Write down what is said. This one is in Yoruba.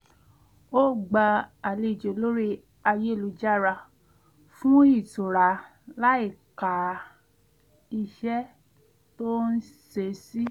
ó gbá àlejò lórí ayélujára fún ìtura láìka iṣẹ́ tó ń ṣe sí